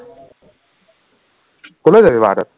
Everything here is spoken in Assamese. কলৈ যাবি বাৰটাত